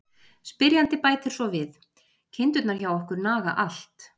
Spyrjandi bætir svo við: Kindurnar hjá okkur naga allt!